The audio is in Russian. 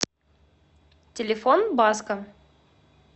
телефон баско